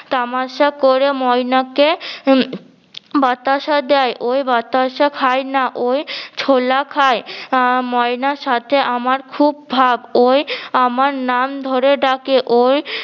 তামাশা করে ময়না কে বাতাসা দেয় ওই বাতাসা খাই না ওই ছোলা খায় আহ ময়না সাথে আমার খুব ভাব ওই আমার নাম ধরে ডাকে ওই